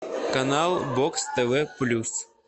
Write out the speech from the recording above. канал бокс тв плюс